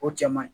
O cɛ man ɲi